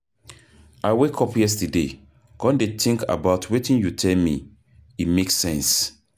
I wake up yesterday come dey think about wetin you tell me, e make sense.